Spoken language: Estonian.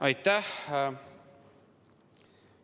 Aitäh!